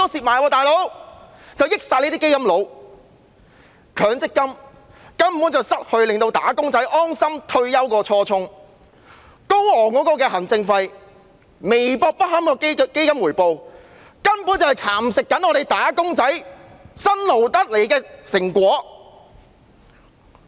所有利益歸基金經理，強積金根本已失去令"打工仔"安心退休的初衷，行政費高昂，基金回報微薄不堪，根本是在蠶食"打工仔"辛勞得來的成果。